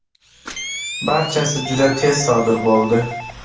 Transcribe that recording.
Barchasi juda tez sodir bo‘ldi.